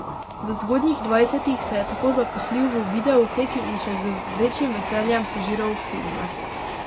V zgodnjih dvajsetih se je tako zaposlil v videoteki in še z večjim veseljem požiral filme.